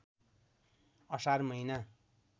असार महिना